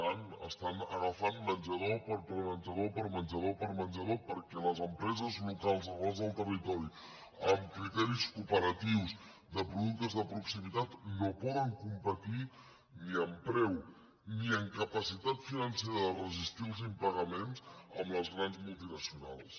tant estan agafant menjador per menjador per menjador per menjador perquè les empreses locals arrelades al territori amb criteris cooperatius de productes de proximitat no poden competir ni amb preu ni amb capacitat financera de resistir els impagaments amb les grans multinacionals